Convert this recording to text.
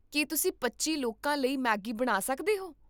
ਕੀ ਤੁਸੀਂ ਪੱਚੀ ਲੋਕਾਂ ਲਈ ਮੈਗੀ ਬਣਾ ਸਕਦੇ ਹੋ?